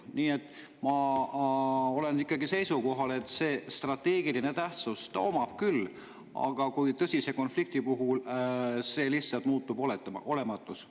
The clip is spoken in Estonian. Nii et ma olen ikkagi seisukohal, et strateegilist tähtsus ta omab küll, aga tõsise konflikti puhul see muutub lihtsalt olematuks.